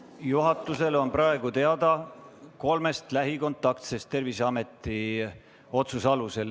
Juhatusele on praegu teada kolm lähikontaktset Terviseameti otsuse alusel.